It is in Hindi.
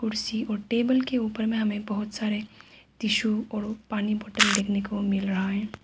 कुर्सी और टेबल के ऊपर में हमें बहोत सारे टिशु और पानी बोतल देखने को मिल रहा है।